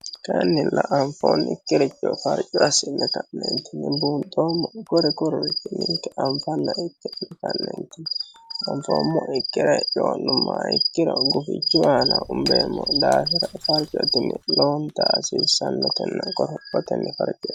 kannilla anfoonnikkiricho farci asinne ka'neentinni buunxoommo kore koreeti ninke anfanna ikke kanneenti anfoommo ikkire coo'numma ikkiro gufichu aana umbeemmo daafira farcotinni loowonta hasiissannotenna qorophotenni faricira